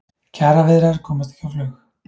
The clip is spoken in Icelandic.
Kjaraviðræður komast ekki á flug